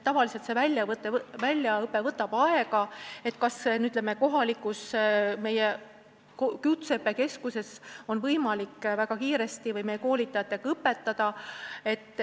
Tavaliselt võtab väljaõpe aega, ei ole teada, kas meie kohalikus kutseõppekeskuses on võimalik väga kiiresti ja meie koolitajatega neid inimesi õpetada.